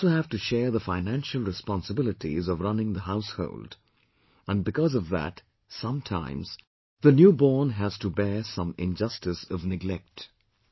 They also have to share the financial responsibilities of running the household, and because of that sometimes, the newborn has to bear some injustice of neglect